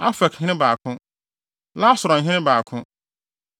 Afekhene 2 baako 1 Lasaronhene 2 baako 1